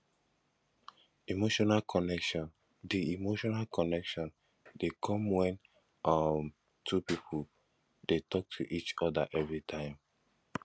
emotional connection de emotional connection de come when um two pipo de talk to each other everytime